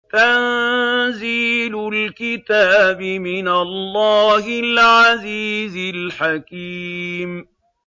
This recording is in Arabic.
تَنزِيلُ الْكِتَابِ مِنَ اللَّهِ الْعَزِيزِ الْحَكِيمِ